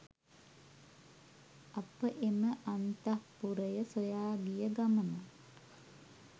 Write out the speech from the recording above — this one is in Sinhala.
අප එම අන්තඃපුරය සොයා ගිය ගමන